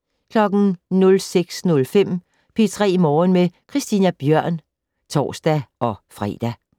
06:05: P3 Morgen med Christina Bjørn (tor-fre)